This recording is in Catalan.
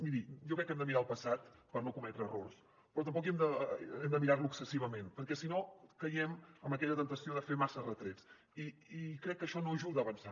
miri jo crec que hem de mirar al passat per no cometre errors però tampoc hem de mirar lo excessivament perquè si no caiem en aquella temptació de fer massa retrets i crec que això no ajuda a avançar